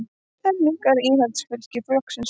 Enn minnkar fylgi Íhaldsflokksins